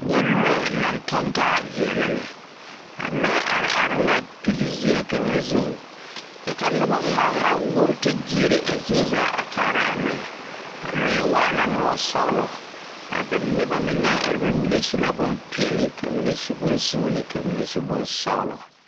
Nyɛ lɔɛ naŋ tɔŋ taa veɛlɛ lɛ.A lɔɛ are are la pilzeɛ kaŋa zuiŋ kyɛ ka noba gmaa gmaa wuoraa te gyeere a lɔɛ. A lɔɛ waala lɔsɔglɔ. A noba mine naŋ are a be su la bonpeɛle, ka mine su bonsuuni kyɛ ka ba mine su bonsɔglɔ.